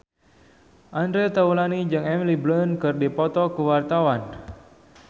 Andre Taulany jeung Emily Blunt keur dipoto ku wartawan